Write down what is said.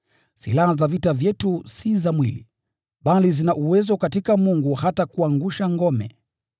Silaha za vita vyetu si za mwili, bali zina uwezo katika Mungu hata kuangusha ngome,